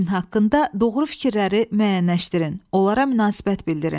Himn haqqında doğru fikirləri müəyyənləşdirin, onlara münasibət bildirin.